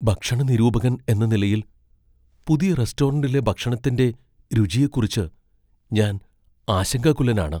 ഭക്ഷണ നിരൂപകൻ എന്ന നിലയിൽ, പുതിയ റെസ്റ്റോറന്റിലെ ഭക്ഷണത്തിന്റെ രുചിയെക്കുറിച്ച് ഞാൻ ആശങ്കാകുലനാണ്.